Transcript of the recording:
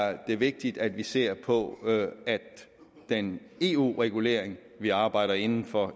er det vigtigt at vi ser på at den eu regulering vi arbejder inden for